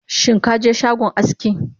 Shinkaje shagon aski?